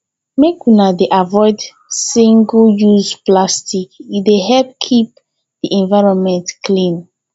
make una dey avoid single use plastic e dey help keep e environment clean